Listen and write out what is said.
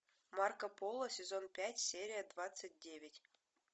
марко поло сезон пять серия двадцать девять